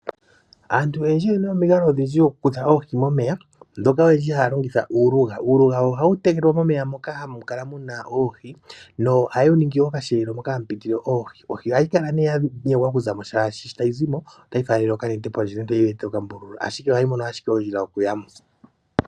Aantu oyendji oyena omikalo ondindji okukutha oohi momeya moka olindji oyendji haa longitha uuluga ,uuluga ohawu tegwa momeya moka hamu kala muna oohi nohawu ningi okasheelo moka hamu pitile oohi ,oohi ohayi kala ne ya nyengwa okuzamo shaashi sho tayi zimo itayi mono ompito oshoka opena owala ondjila yokuyamo.